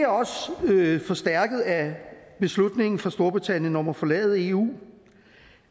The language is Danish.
det er forstærket af beslutningen fra storbritannien om at forlade eu